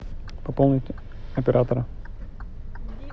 пополнить оператора